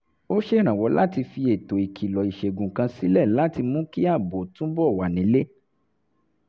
ó ṣèrànwọ́ láti fi ètò ìkìlọ̀ ìṣègùn kan sílé láti mú kí ààbò túbọ̀ wà nílé